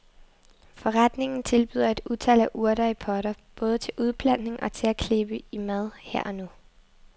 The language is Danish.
Forretningen tilbyder et utal af urter i potter, både til udplantning og til at klippe i mad her og nu.